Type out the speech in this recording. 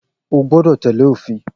O gbọ́dọ̀ tẹ́lẹ̀ òfin